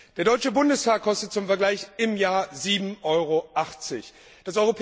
Der Deutsche Bundestag kostet zum Vergleich im Jahr 7,80 EUR.